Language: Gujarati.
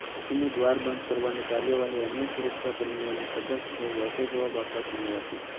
તેણીની દ્વાર બંધ કરવાની કાર્યવાહીએ અન્ય સુરક્ષાકર્મીઓને સતર્ક થઈ વળતો જવાબ આપવા સમય આપ્યો